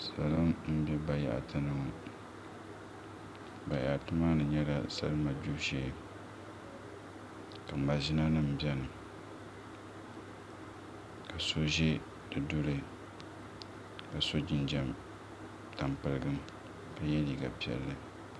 Salo n bɛ bayaɣati ni ŋo bayaɣati maa ni nyɛla salima gbibu shee ka maʒina nim biɛni ka so ʒi di duli ka so jinjɛm tampilim ka yɛ liiga piɛlli